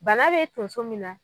Bana bɛ tun so min na.